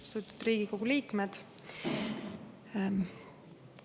Austatud Riigikogu liikmed!